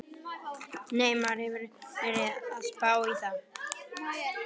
Nei, maður hefur verið að spá í það.